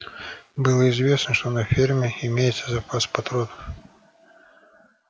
было известно что на ферме имеется запас патронов